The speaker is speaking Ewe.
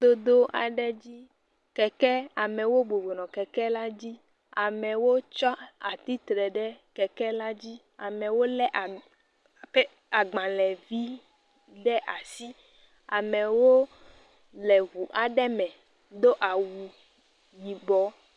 Dodo aɖe dzi. Keke, amewo bɔbɔ nɔ kekela dzi. amewo tsɔ atsi tre ɖe kekela dzi. amewo lé pe, agbalẽvi ɖe asi. Amewo le ŋu aɖe me do awu yibɔ.